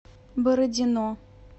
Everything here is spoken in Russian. бородино